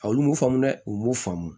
A olu m'o faamu dɛ u m'u faamu